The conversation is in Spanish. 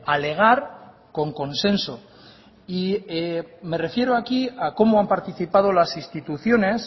alegar con consenso y me refiero aquí a como han participado las instituciones